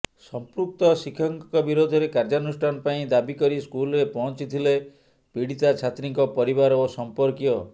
ସଂପୃକ୍ତ ଶିକ୍ଷକଙ୍କ ବିରୋଧରେ କାର୍ଯ୍ୟାନୁଷ୍ଠାନ ପାଇଁ ଦାବି କରି ସ୍କୁଲରେ ପହଞ୍ଚିଥିଲେ ପୀଡ଼ିତା ଛାତ୍ରୀଙ୍କ ପରିବାର ଓ ସମ୍ପର୍କୀୟ